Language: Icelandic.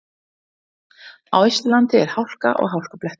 Á Austurlandi er hálka og hálkublettir